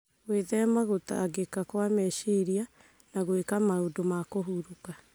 Gwĩthema gũtangĩka kwa meciria na gwĩka maũndũ ma kũhurũka